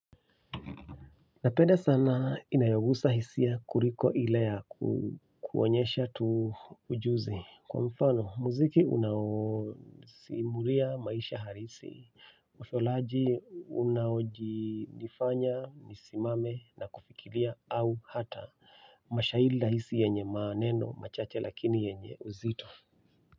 Napenda sana inayo gusa hisia kuliko ile ya konyesha tu ujuzi kwa mfano, muziki unawo simulia maisha halisi. Utholaji unawoji nifanya, nisimame na kufikiria au hata mashairi rahisi yenye maneno, machache lakini yenye uzito.